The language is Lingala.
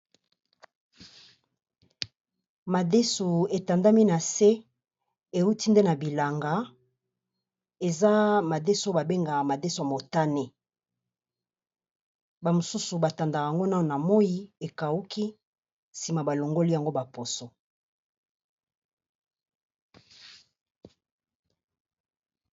Madesu e tandami na se e wuti nde na bilanga, eza madesu ba bengaka madesu motane, ba misusu ba tandaka yango na moyi, e kawuki sima ba longoli yango ba poso .